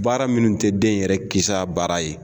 Baara minnu tɛ den yɛrɛ kisa baara ye